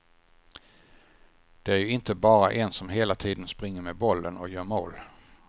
Det är ju inte bara en som hela tiden springer med bollen och gör mål.